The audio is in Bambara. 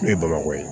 Ne ye bamakɔ ye